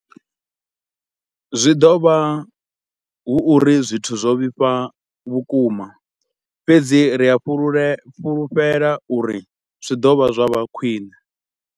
Zwi ḓo vha hu uri zwithu zwo vhifha vhukuma, fhedzi ri a fhulufhela uri zwi ḓo vha zwa vha khwiṋe.